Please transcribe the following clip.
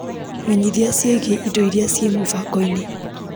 Menyithia ciĩgiĩ indo iria ciĩ mũbango-inĩ .